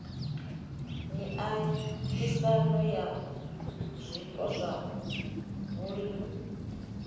miaisano ya zwiko zwa vhulimi